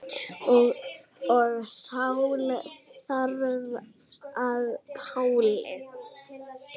Og Sál varð að Páli.